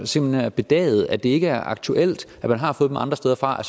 simpelt hen er bedagede og at det ikke er aktuelt og man har fået det andre steder fra